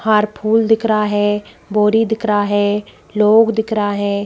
हार फूल दिख रहा है बोरी दिख रहा है लोग दिख रहा है।